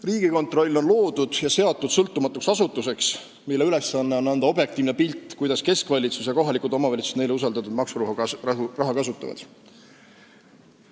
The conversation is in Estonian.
Riigikontroll on loodud ja seatud sõltumatuks asutuseks, mille ülesanne on anda objektiivne pilt, kuidas keskvalitsus ja kohalikud omavalitsused neile usaldatud maksuraha kasutavad.